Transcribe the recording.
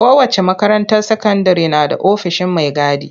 Kowace makaranta sakandire na da ofishin mai gadi.